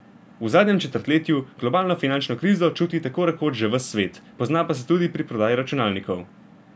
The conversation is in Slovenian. V zadnjem četrtletju globalno finančno krizo čuti tako rekoč že ves svet, pozna pa se tudi pri prodaji računalnikov.